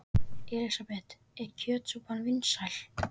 Elísabet: Er kjötsúpan vinsæl?